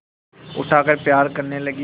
उठाकर प्यार करने लगी